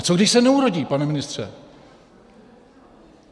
A co když se neurodí, pane ministře?